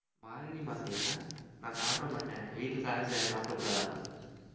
மார்கழி மாசம்ய்யா நான் சாப்பிட மாட்டேன் வீட்டுல சாப்பிடக்கூடாதாம்மா